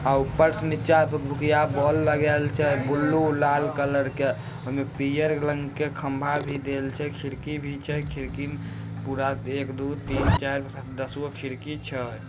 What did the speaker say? आ उपर से नीचा भूक-भूकीया बल्ब लगैल छे ब्लू लाल कलर के ओईमा पीअर रंग के खंबा भी देल छे खिड़की भी छे खिड़की मे पूरा एक दु तीन चार दसगो खिड़की छे।